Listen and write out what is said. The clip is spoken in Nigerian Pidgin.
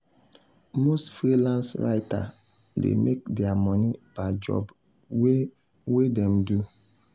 most freelance writers dey make their money per job wey wey dem do.